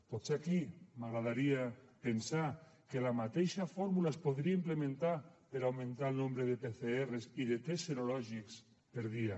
potser aquí m’agradaria pensar que la mateixa fórmula es podria implementar per a augmentar el nombre de pcrs i de tests serològics per dia